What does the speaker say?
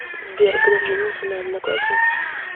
сбер греф женился на однокласснице